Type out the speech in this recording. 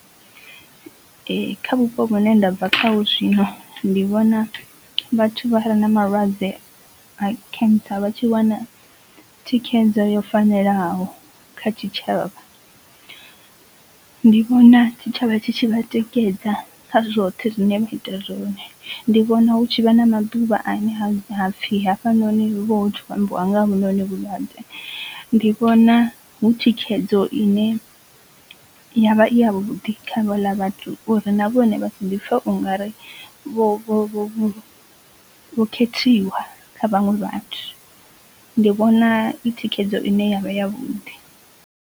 Kha vhupo hune ndabva khaho zwino ndi vhona vhathu vha re na malwadze a cancer vhatshi wana thikhedzo yo fanelaho kha tshitshavha. Ndi vhona tshitshavha tshi tshi vha tikedza kha zwoṱhe zwine vha ita zwone, ndi vhona hu tshi vha na maḓuvha ane ha hapfi hafhanoni hu vha hu tshi khou ambiwa nga ha hovhunoni vhulwadze ndi vhona hu thikhedzo ine yavha i ya vhuḓi kha havhala vhathu uri na vhone vha si ḓipfe ungari vho vho vho vho khethiwa kha vhaṅwe vhathu ndi vhona i thikhedzo ine yavha ya vhuḓi.